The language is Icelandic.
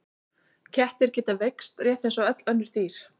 Kettir geta veikst rétt eins og öll önnur dýr.